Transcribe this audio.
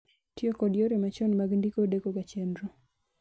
Tiyo kod yore machon mag ndiko deko ga chenro